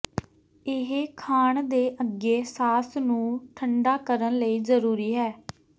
ਇਹ ਖਾਣ ਦੇ ਅੱਗੇ ਸਾਸ ਨੂੰ ਠੰਢਾ ਕਰਨ ਲਈ ਜ਼ਰੂਰੀ ਹੈ